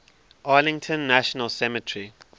arlington national cemetery